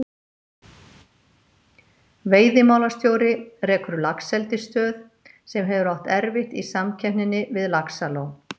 Veiðimálastjóri rekur laxeldisstöð, sem hefur átt erfitt í samkeppninni við Laxalón.